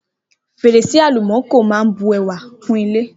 Fèrèsé àlùmákò máa ń bu ẹwà kún ilé